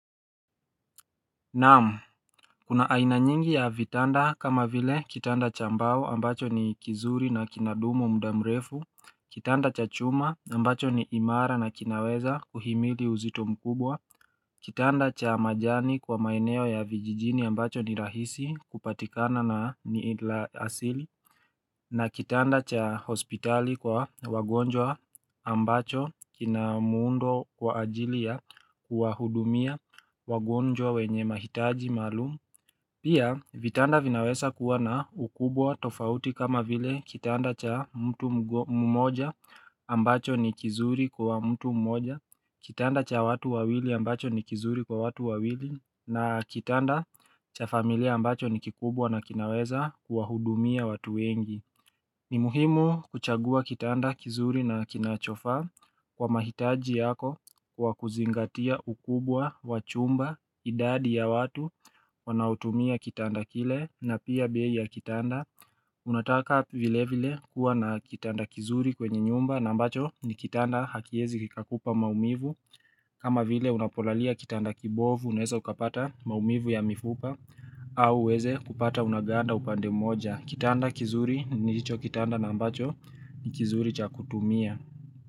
Naam, kuna aina nyingi ya vitanda kama vile kitanda cha mbao ambacho ni kizuri na kinadumu mda mrefu, kitanda cha chuma ambacho ni imara na kinaweza kuhimili uzito mkubwa, kitanda cha majani kwa maeneo ya vijijini ambacho ni rahisi kupatikana na ni idla asili na kitanda cha hospitali kwa wagonjwa ambacho kina muundo kwa ajili ya kuwahudumia wagonjwa wenye mahitaji maalum Pia vitanda vinawesa kuwa na ukubwa tofauti kama vile kitanda cha mtu mmoja ambacho ni kizuri kwa mtu mmoja Kitanda cha watu wawili ambacho ni kizuri kwa watu wawili na kitanda cha familia ambacho ni kikubwa na kinaweza kuwahudumia watu wengi ni muhimu kuchagua kitanda kizuri na kinachofaa kwa mahitaji yako kwa kuzingatia ukubwa, wa chumba, idadi ya watu, wanaotumia kitanda kile na pia bei ya kitanda. Unataka vile vile kuwa na kitanda kizuri kwenye nyumba na mbacho ni kitanda hakiezi kikakupa maumivu. Kama vile unapolalia kitanda kibovu, unaeza ukapata maumivu ya mifupa au uweze kupata unaganda upande moja. Kitanda kizuri ni hicho kitanda na ambacho ni kizuri cha kutumia.